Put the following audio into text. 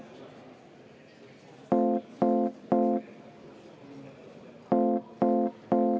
Aitäh!